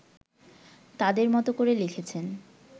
তাদের মতো করে লিখেছেন